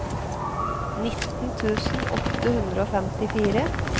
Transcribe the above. nitten tusen åtte hundre og femtifire